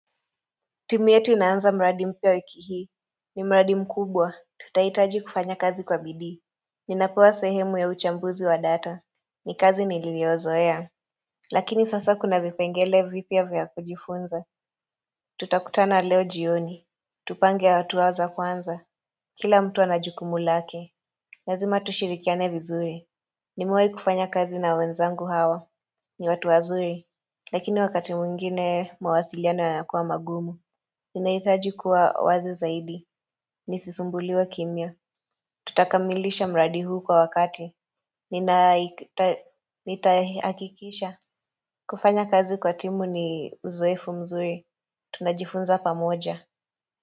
Timu yetu inaanza mradi mpya wiki hii. Ni mradi mkubwa. Tutahitaji kufanya kazi kwa bidii. Ninapewa sehemu ya uchambuzi wa data. Ni kazi niliyoizoea. Lakini sasa kuna vipengele vipya vya kujifunza. Tutakutana leo jioni. Tupange hatua za kwanza. Kila mtu ana jukumu lake. Lazima tushirikiane vizuri. Nimewai kufanya kazi na wenzangu hawa. Ni watu wazuri, lakini wakati mwengine mawasiliano yanakua magumu. Ninahitaji kuwa wazi zaidi. Nisisumbuliwe kimya. Tutakamilisha mradi huu kwa wakati. Nitahakikisha. Kufanya kazi kwa timu ni uzoefu mzuri. Tunajifunza pamoja.